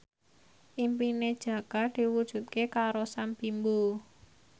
impine Jaka diwujudke karo Sam Bimbo